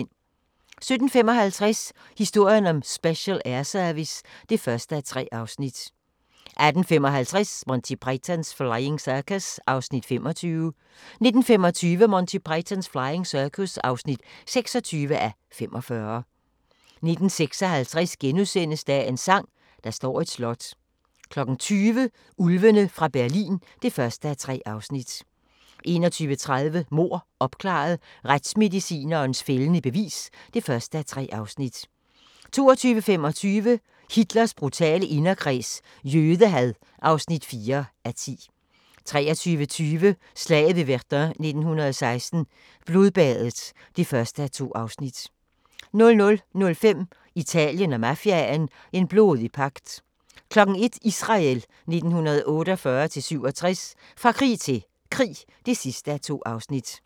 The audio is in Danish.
17:55: Historien om Special Air Service (1:3) 18:55: Monty Python's Flying Circus (25:45) 19:25: Monty Python's Flying Circus (26:45) 19:56: Dagens sang: Der står et slot * 20:00: Ulvene fra Berlin (1:3) 21:30: Mord opklaret – Retsmedicinens fældende bevis (1:3) 22:25: Hitlers brutale inderkreds – jødehad (4:10) 23:20: Slaget ved Verdun 1916 – Blodbadet (1:2) 00:05: Italien og mafiaen – en blodig pagt 01:00: Israel 1948-1967 – fra krig til krig (2:2)